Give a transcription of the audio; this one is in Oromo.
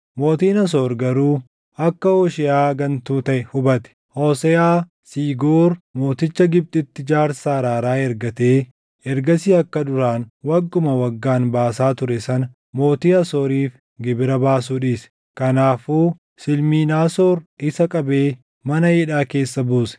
Mootiin Asoor garuu akka Hoosheeʼaa gantuu taʼe hubate; Hooseʼaa Siigoor mooticha Gibxitti jaarsa araaraa ergatee ergasii akka duraan wagguma waggaan baasaa ture sana mootii Asooriif gibira baasuu dhiise. Kanaafuu Silminaasoor isa qabee mana hidhaa keessa buuse.